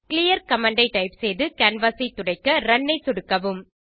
clear command ஐ type செய்து canvas ஐ துடைக்க ரன் ஐ சொடுக்கவும்